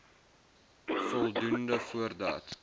voldoenvoordat